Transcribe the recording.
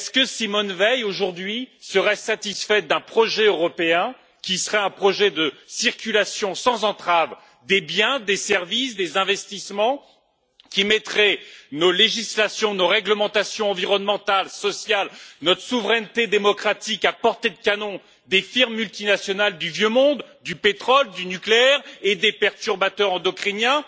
Simone Veil, aujourd'hui, serait elle satisfaite d'un projet européen qui serait un projet de circulation sans entrave des biens, des services et des investissements, qui mettrait nos législations, nos réglementations environnementales et sociales et notre souveraineté démocratique à portée de canon des firmes multinationales du vieux monde, du pétrole, du nucléaire et des perturbateurs endocriniens?